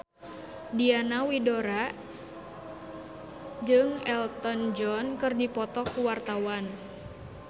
Diana Widoera jeung Elton John keur dipoto ku wartawan